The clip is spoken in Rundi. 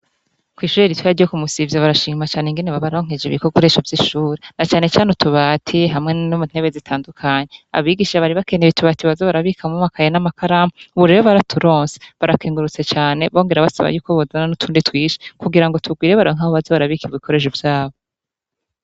Kw'ishure ritoya ryo ku Musivya barashima cane ingene babaronkeje ibikoresho vy'ishure na canecane utubati hamwe n'intebe zitandukanye, abigisha bari bakeneye itubati baza barabikamwo amakaye n'amakaramu, ubu rero baraturonse barakengurutse cane bongera basaba yuko bozana n'utundi twinshi kugira ngo tugwire baronke aho baza barabika ibikoresho vyabo.